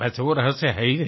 वैसे वो रहस्य है ही नहीं